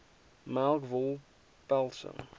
melk wol pelse